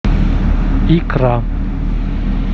икра